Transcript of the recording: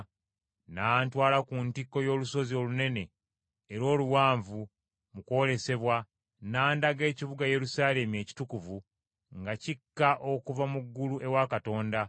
N’antwala ku ntikko y’olusozi olunene era oluwanvu mu kwolesebwa; n’andaga ekibuga Yerusaalemi ekitukuvu nga kikka okuva mu ggulu ewa Katonda,